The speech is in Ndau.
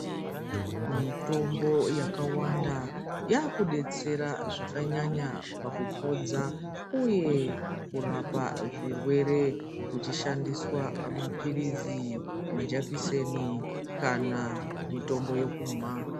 Mitombo yakawanda yakudetsera zvakanyanya pakupodza uye kurapa zvirwere kuchishandiswa mapirizi majakiseni kana mitombo yekumwa.